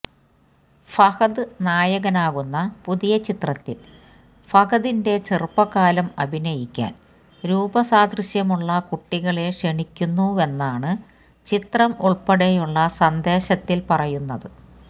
ഫഹദ് നായകനാകുന്ന പുതിയ ചിത്രത്തിൽ ഫഹദിന്റെ ചെറുപ്പകാലം അഭിനയിക്കാൻ രൂപസാദൃശ്യമുള്ള കുട്ടികളെ ക്ഷണിക്കുന്നു വെന്നാണ് ചിത്രം ഉൾപ്പെടെയുള്ള സന്ദേശത്തിൽ പറയുന്നത്